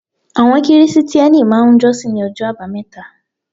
Àwọn Kìrìsìtíẹ́nì máà ń jọ́ṣin ní ọjọ́ àbámẹ́ta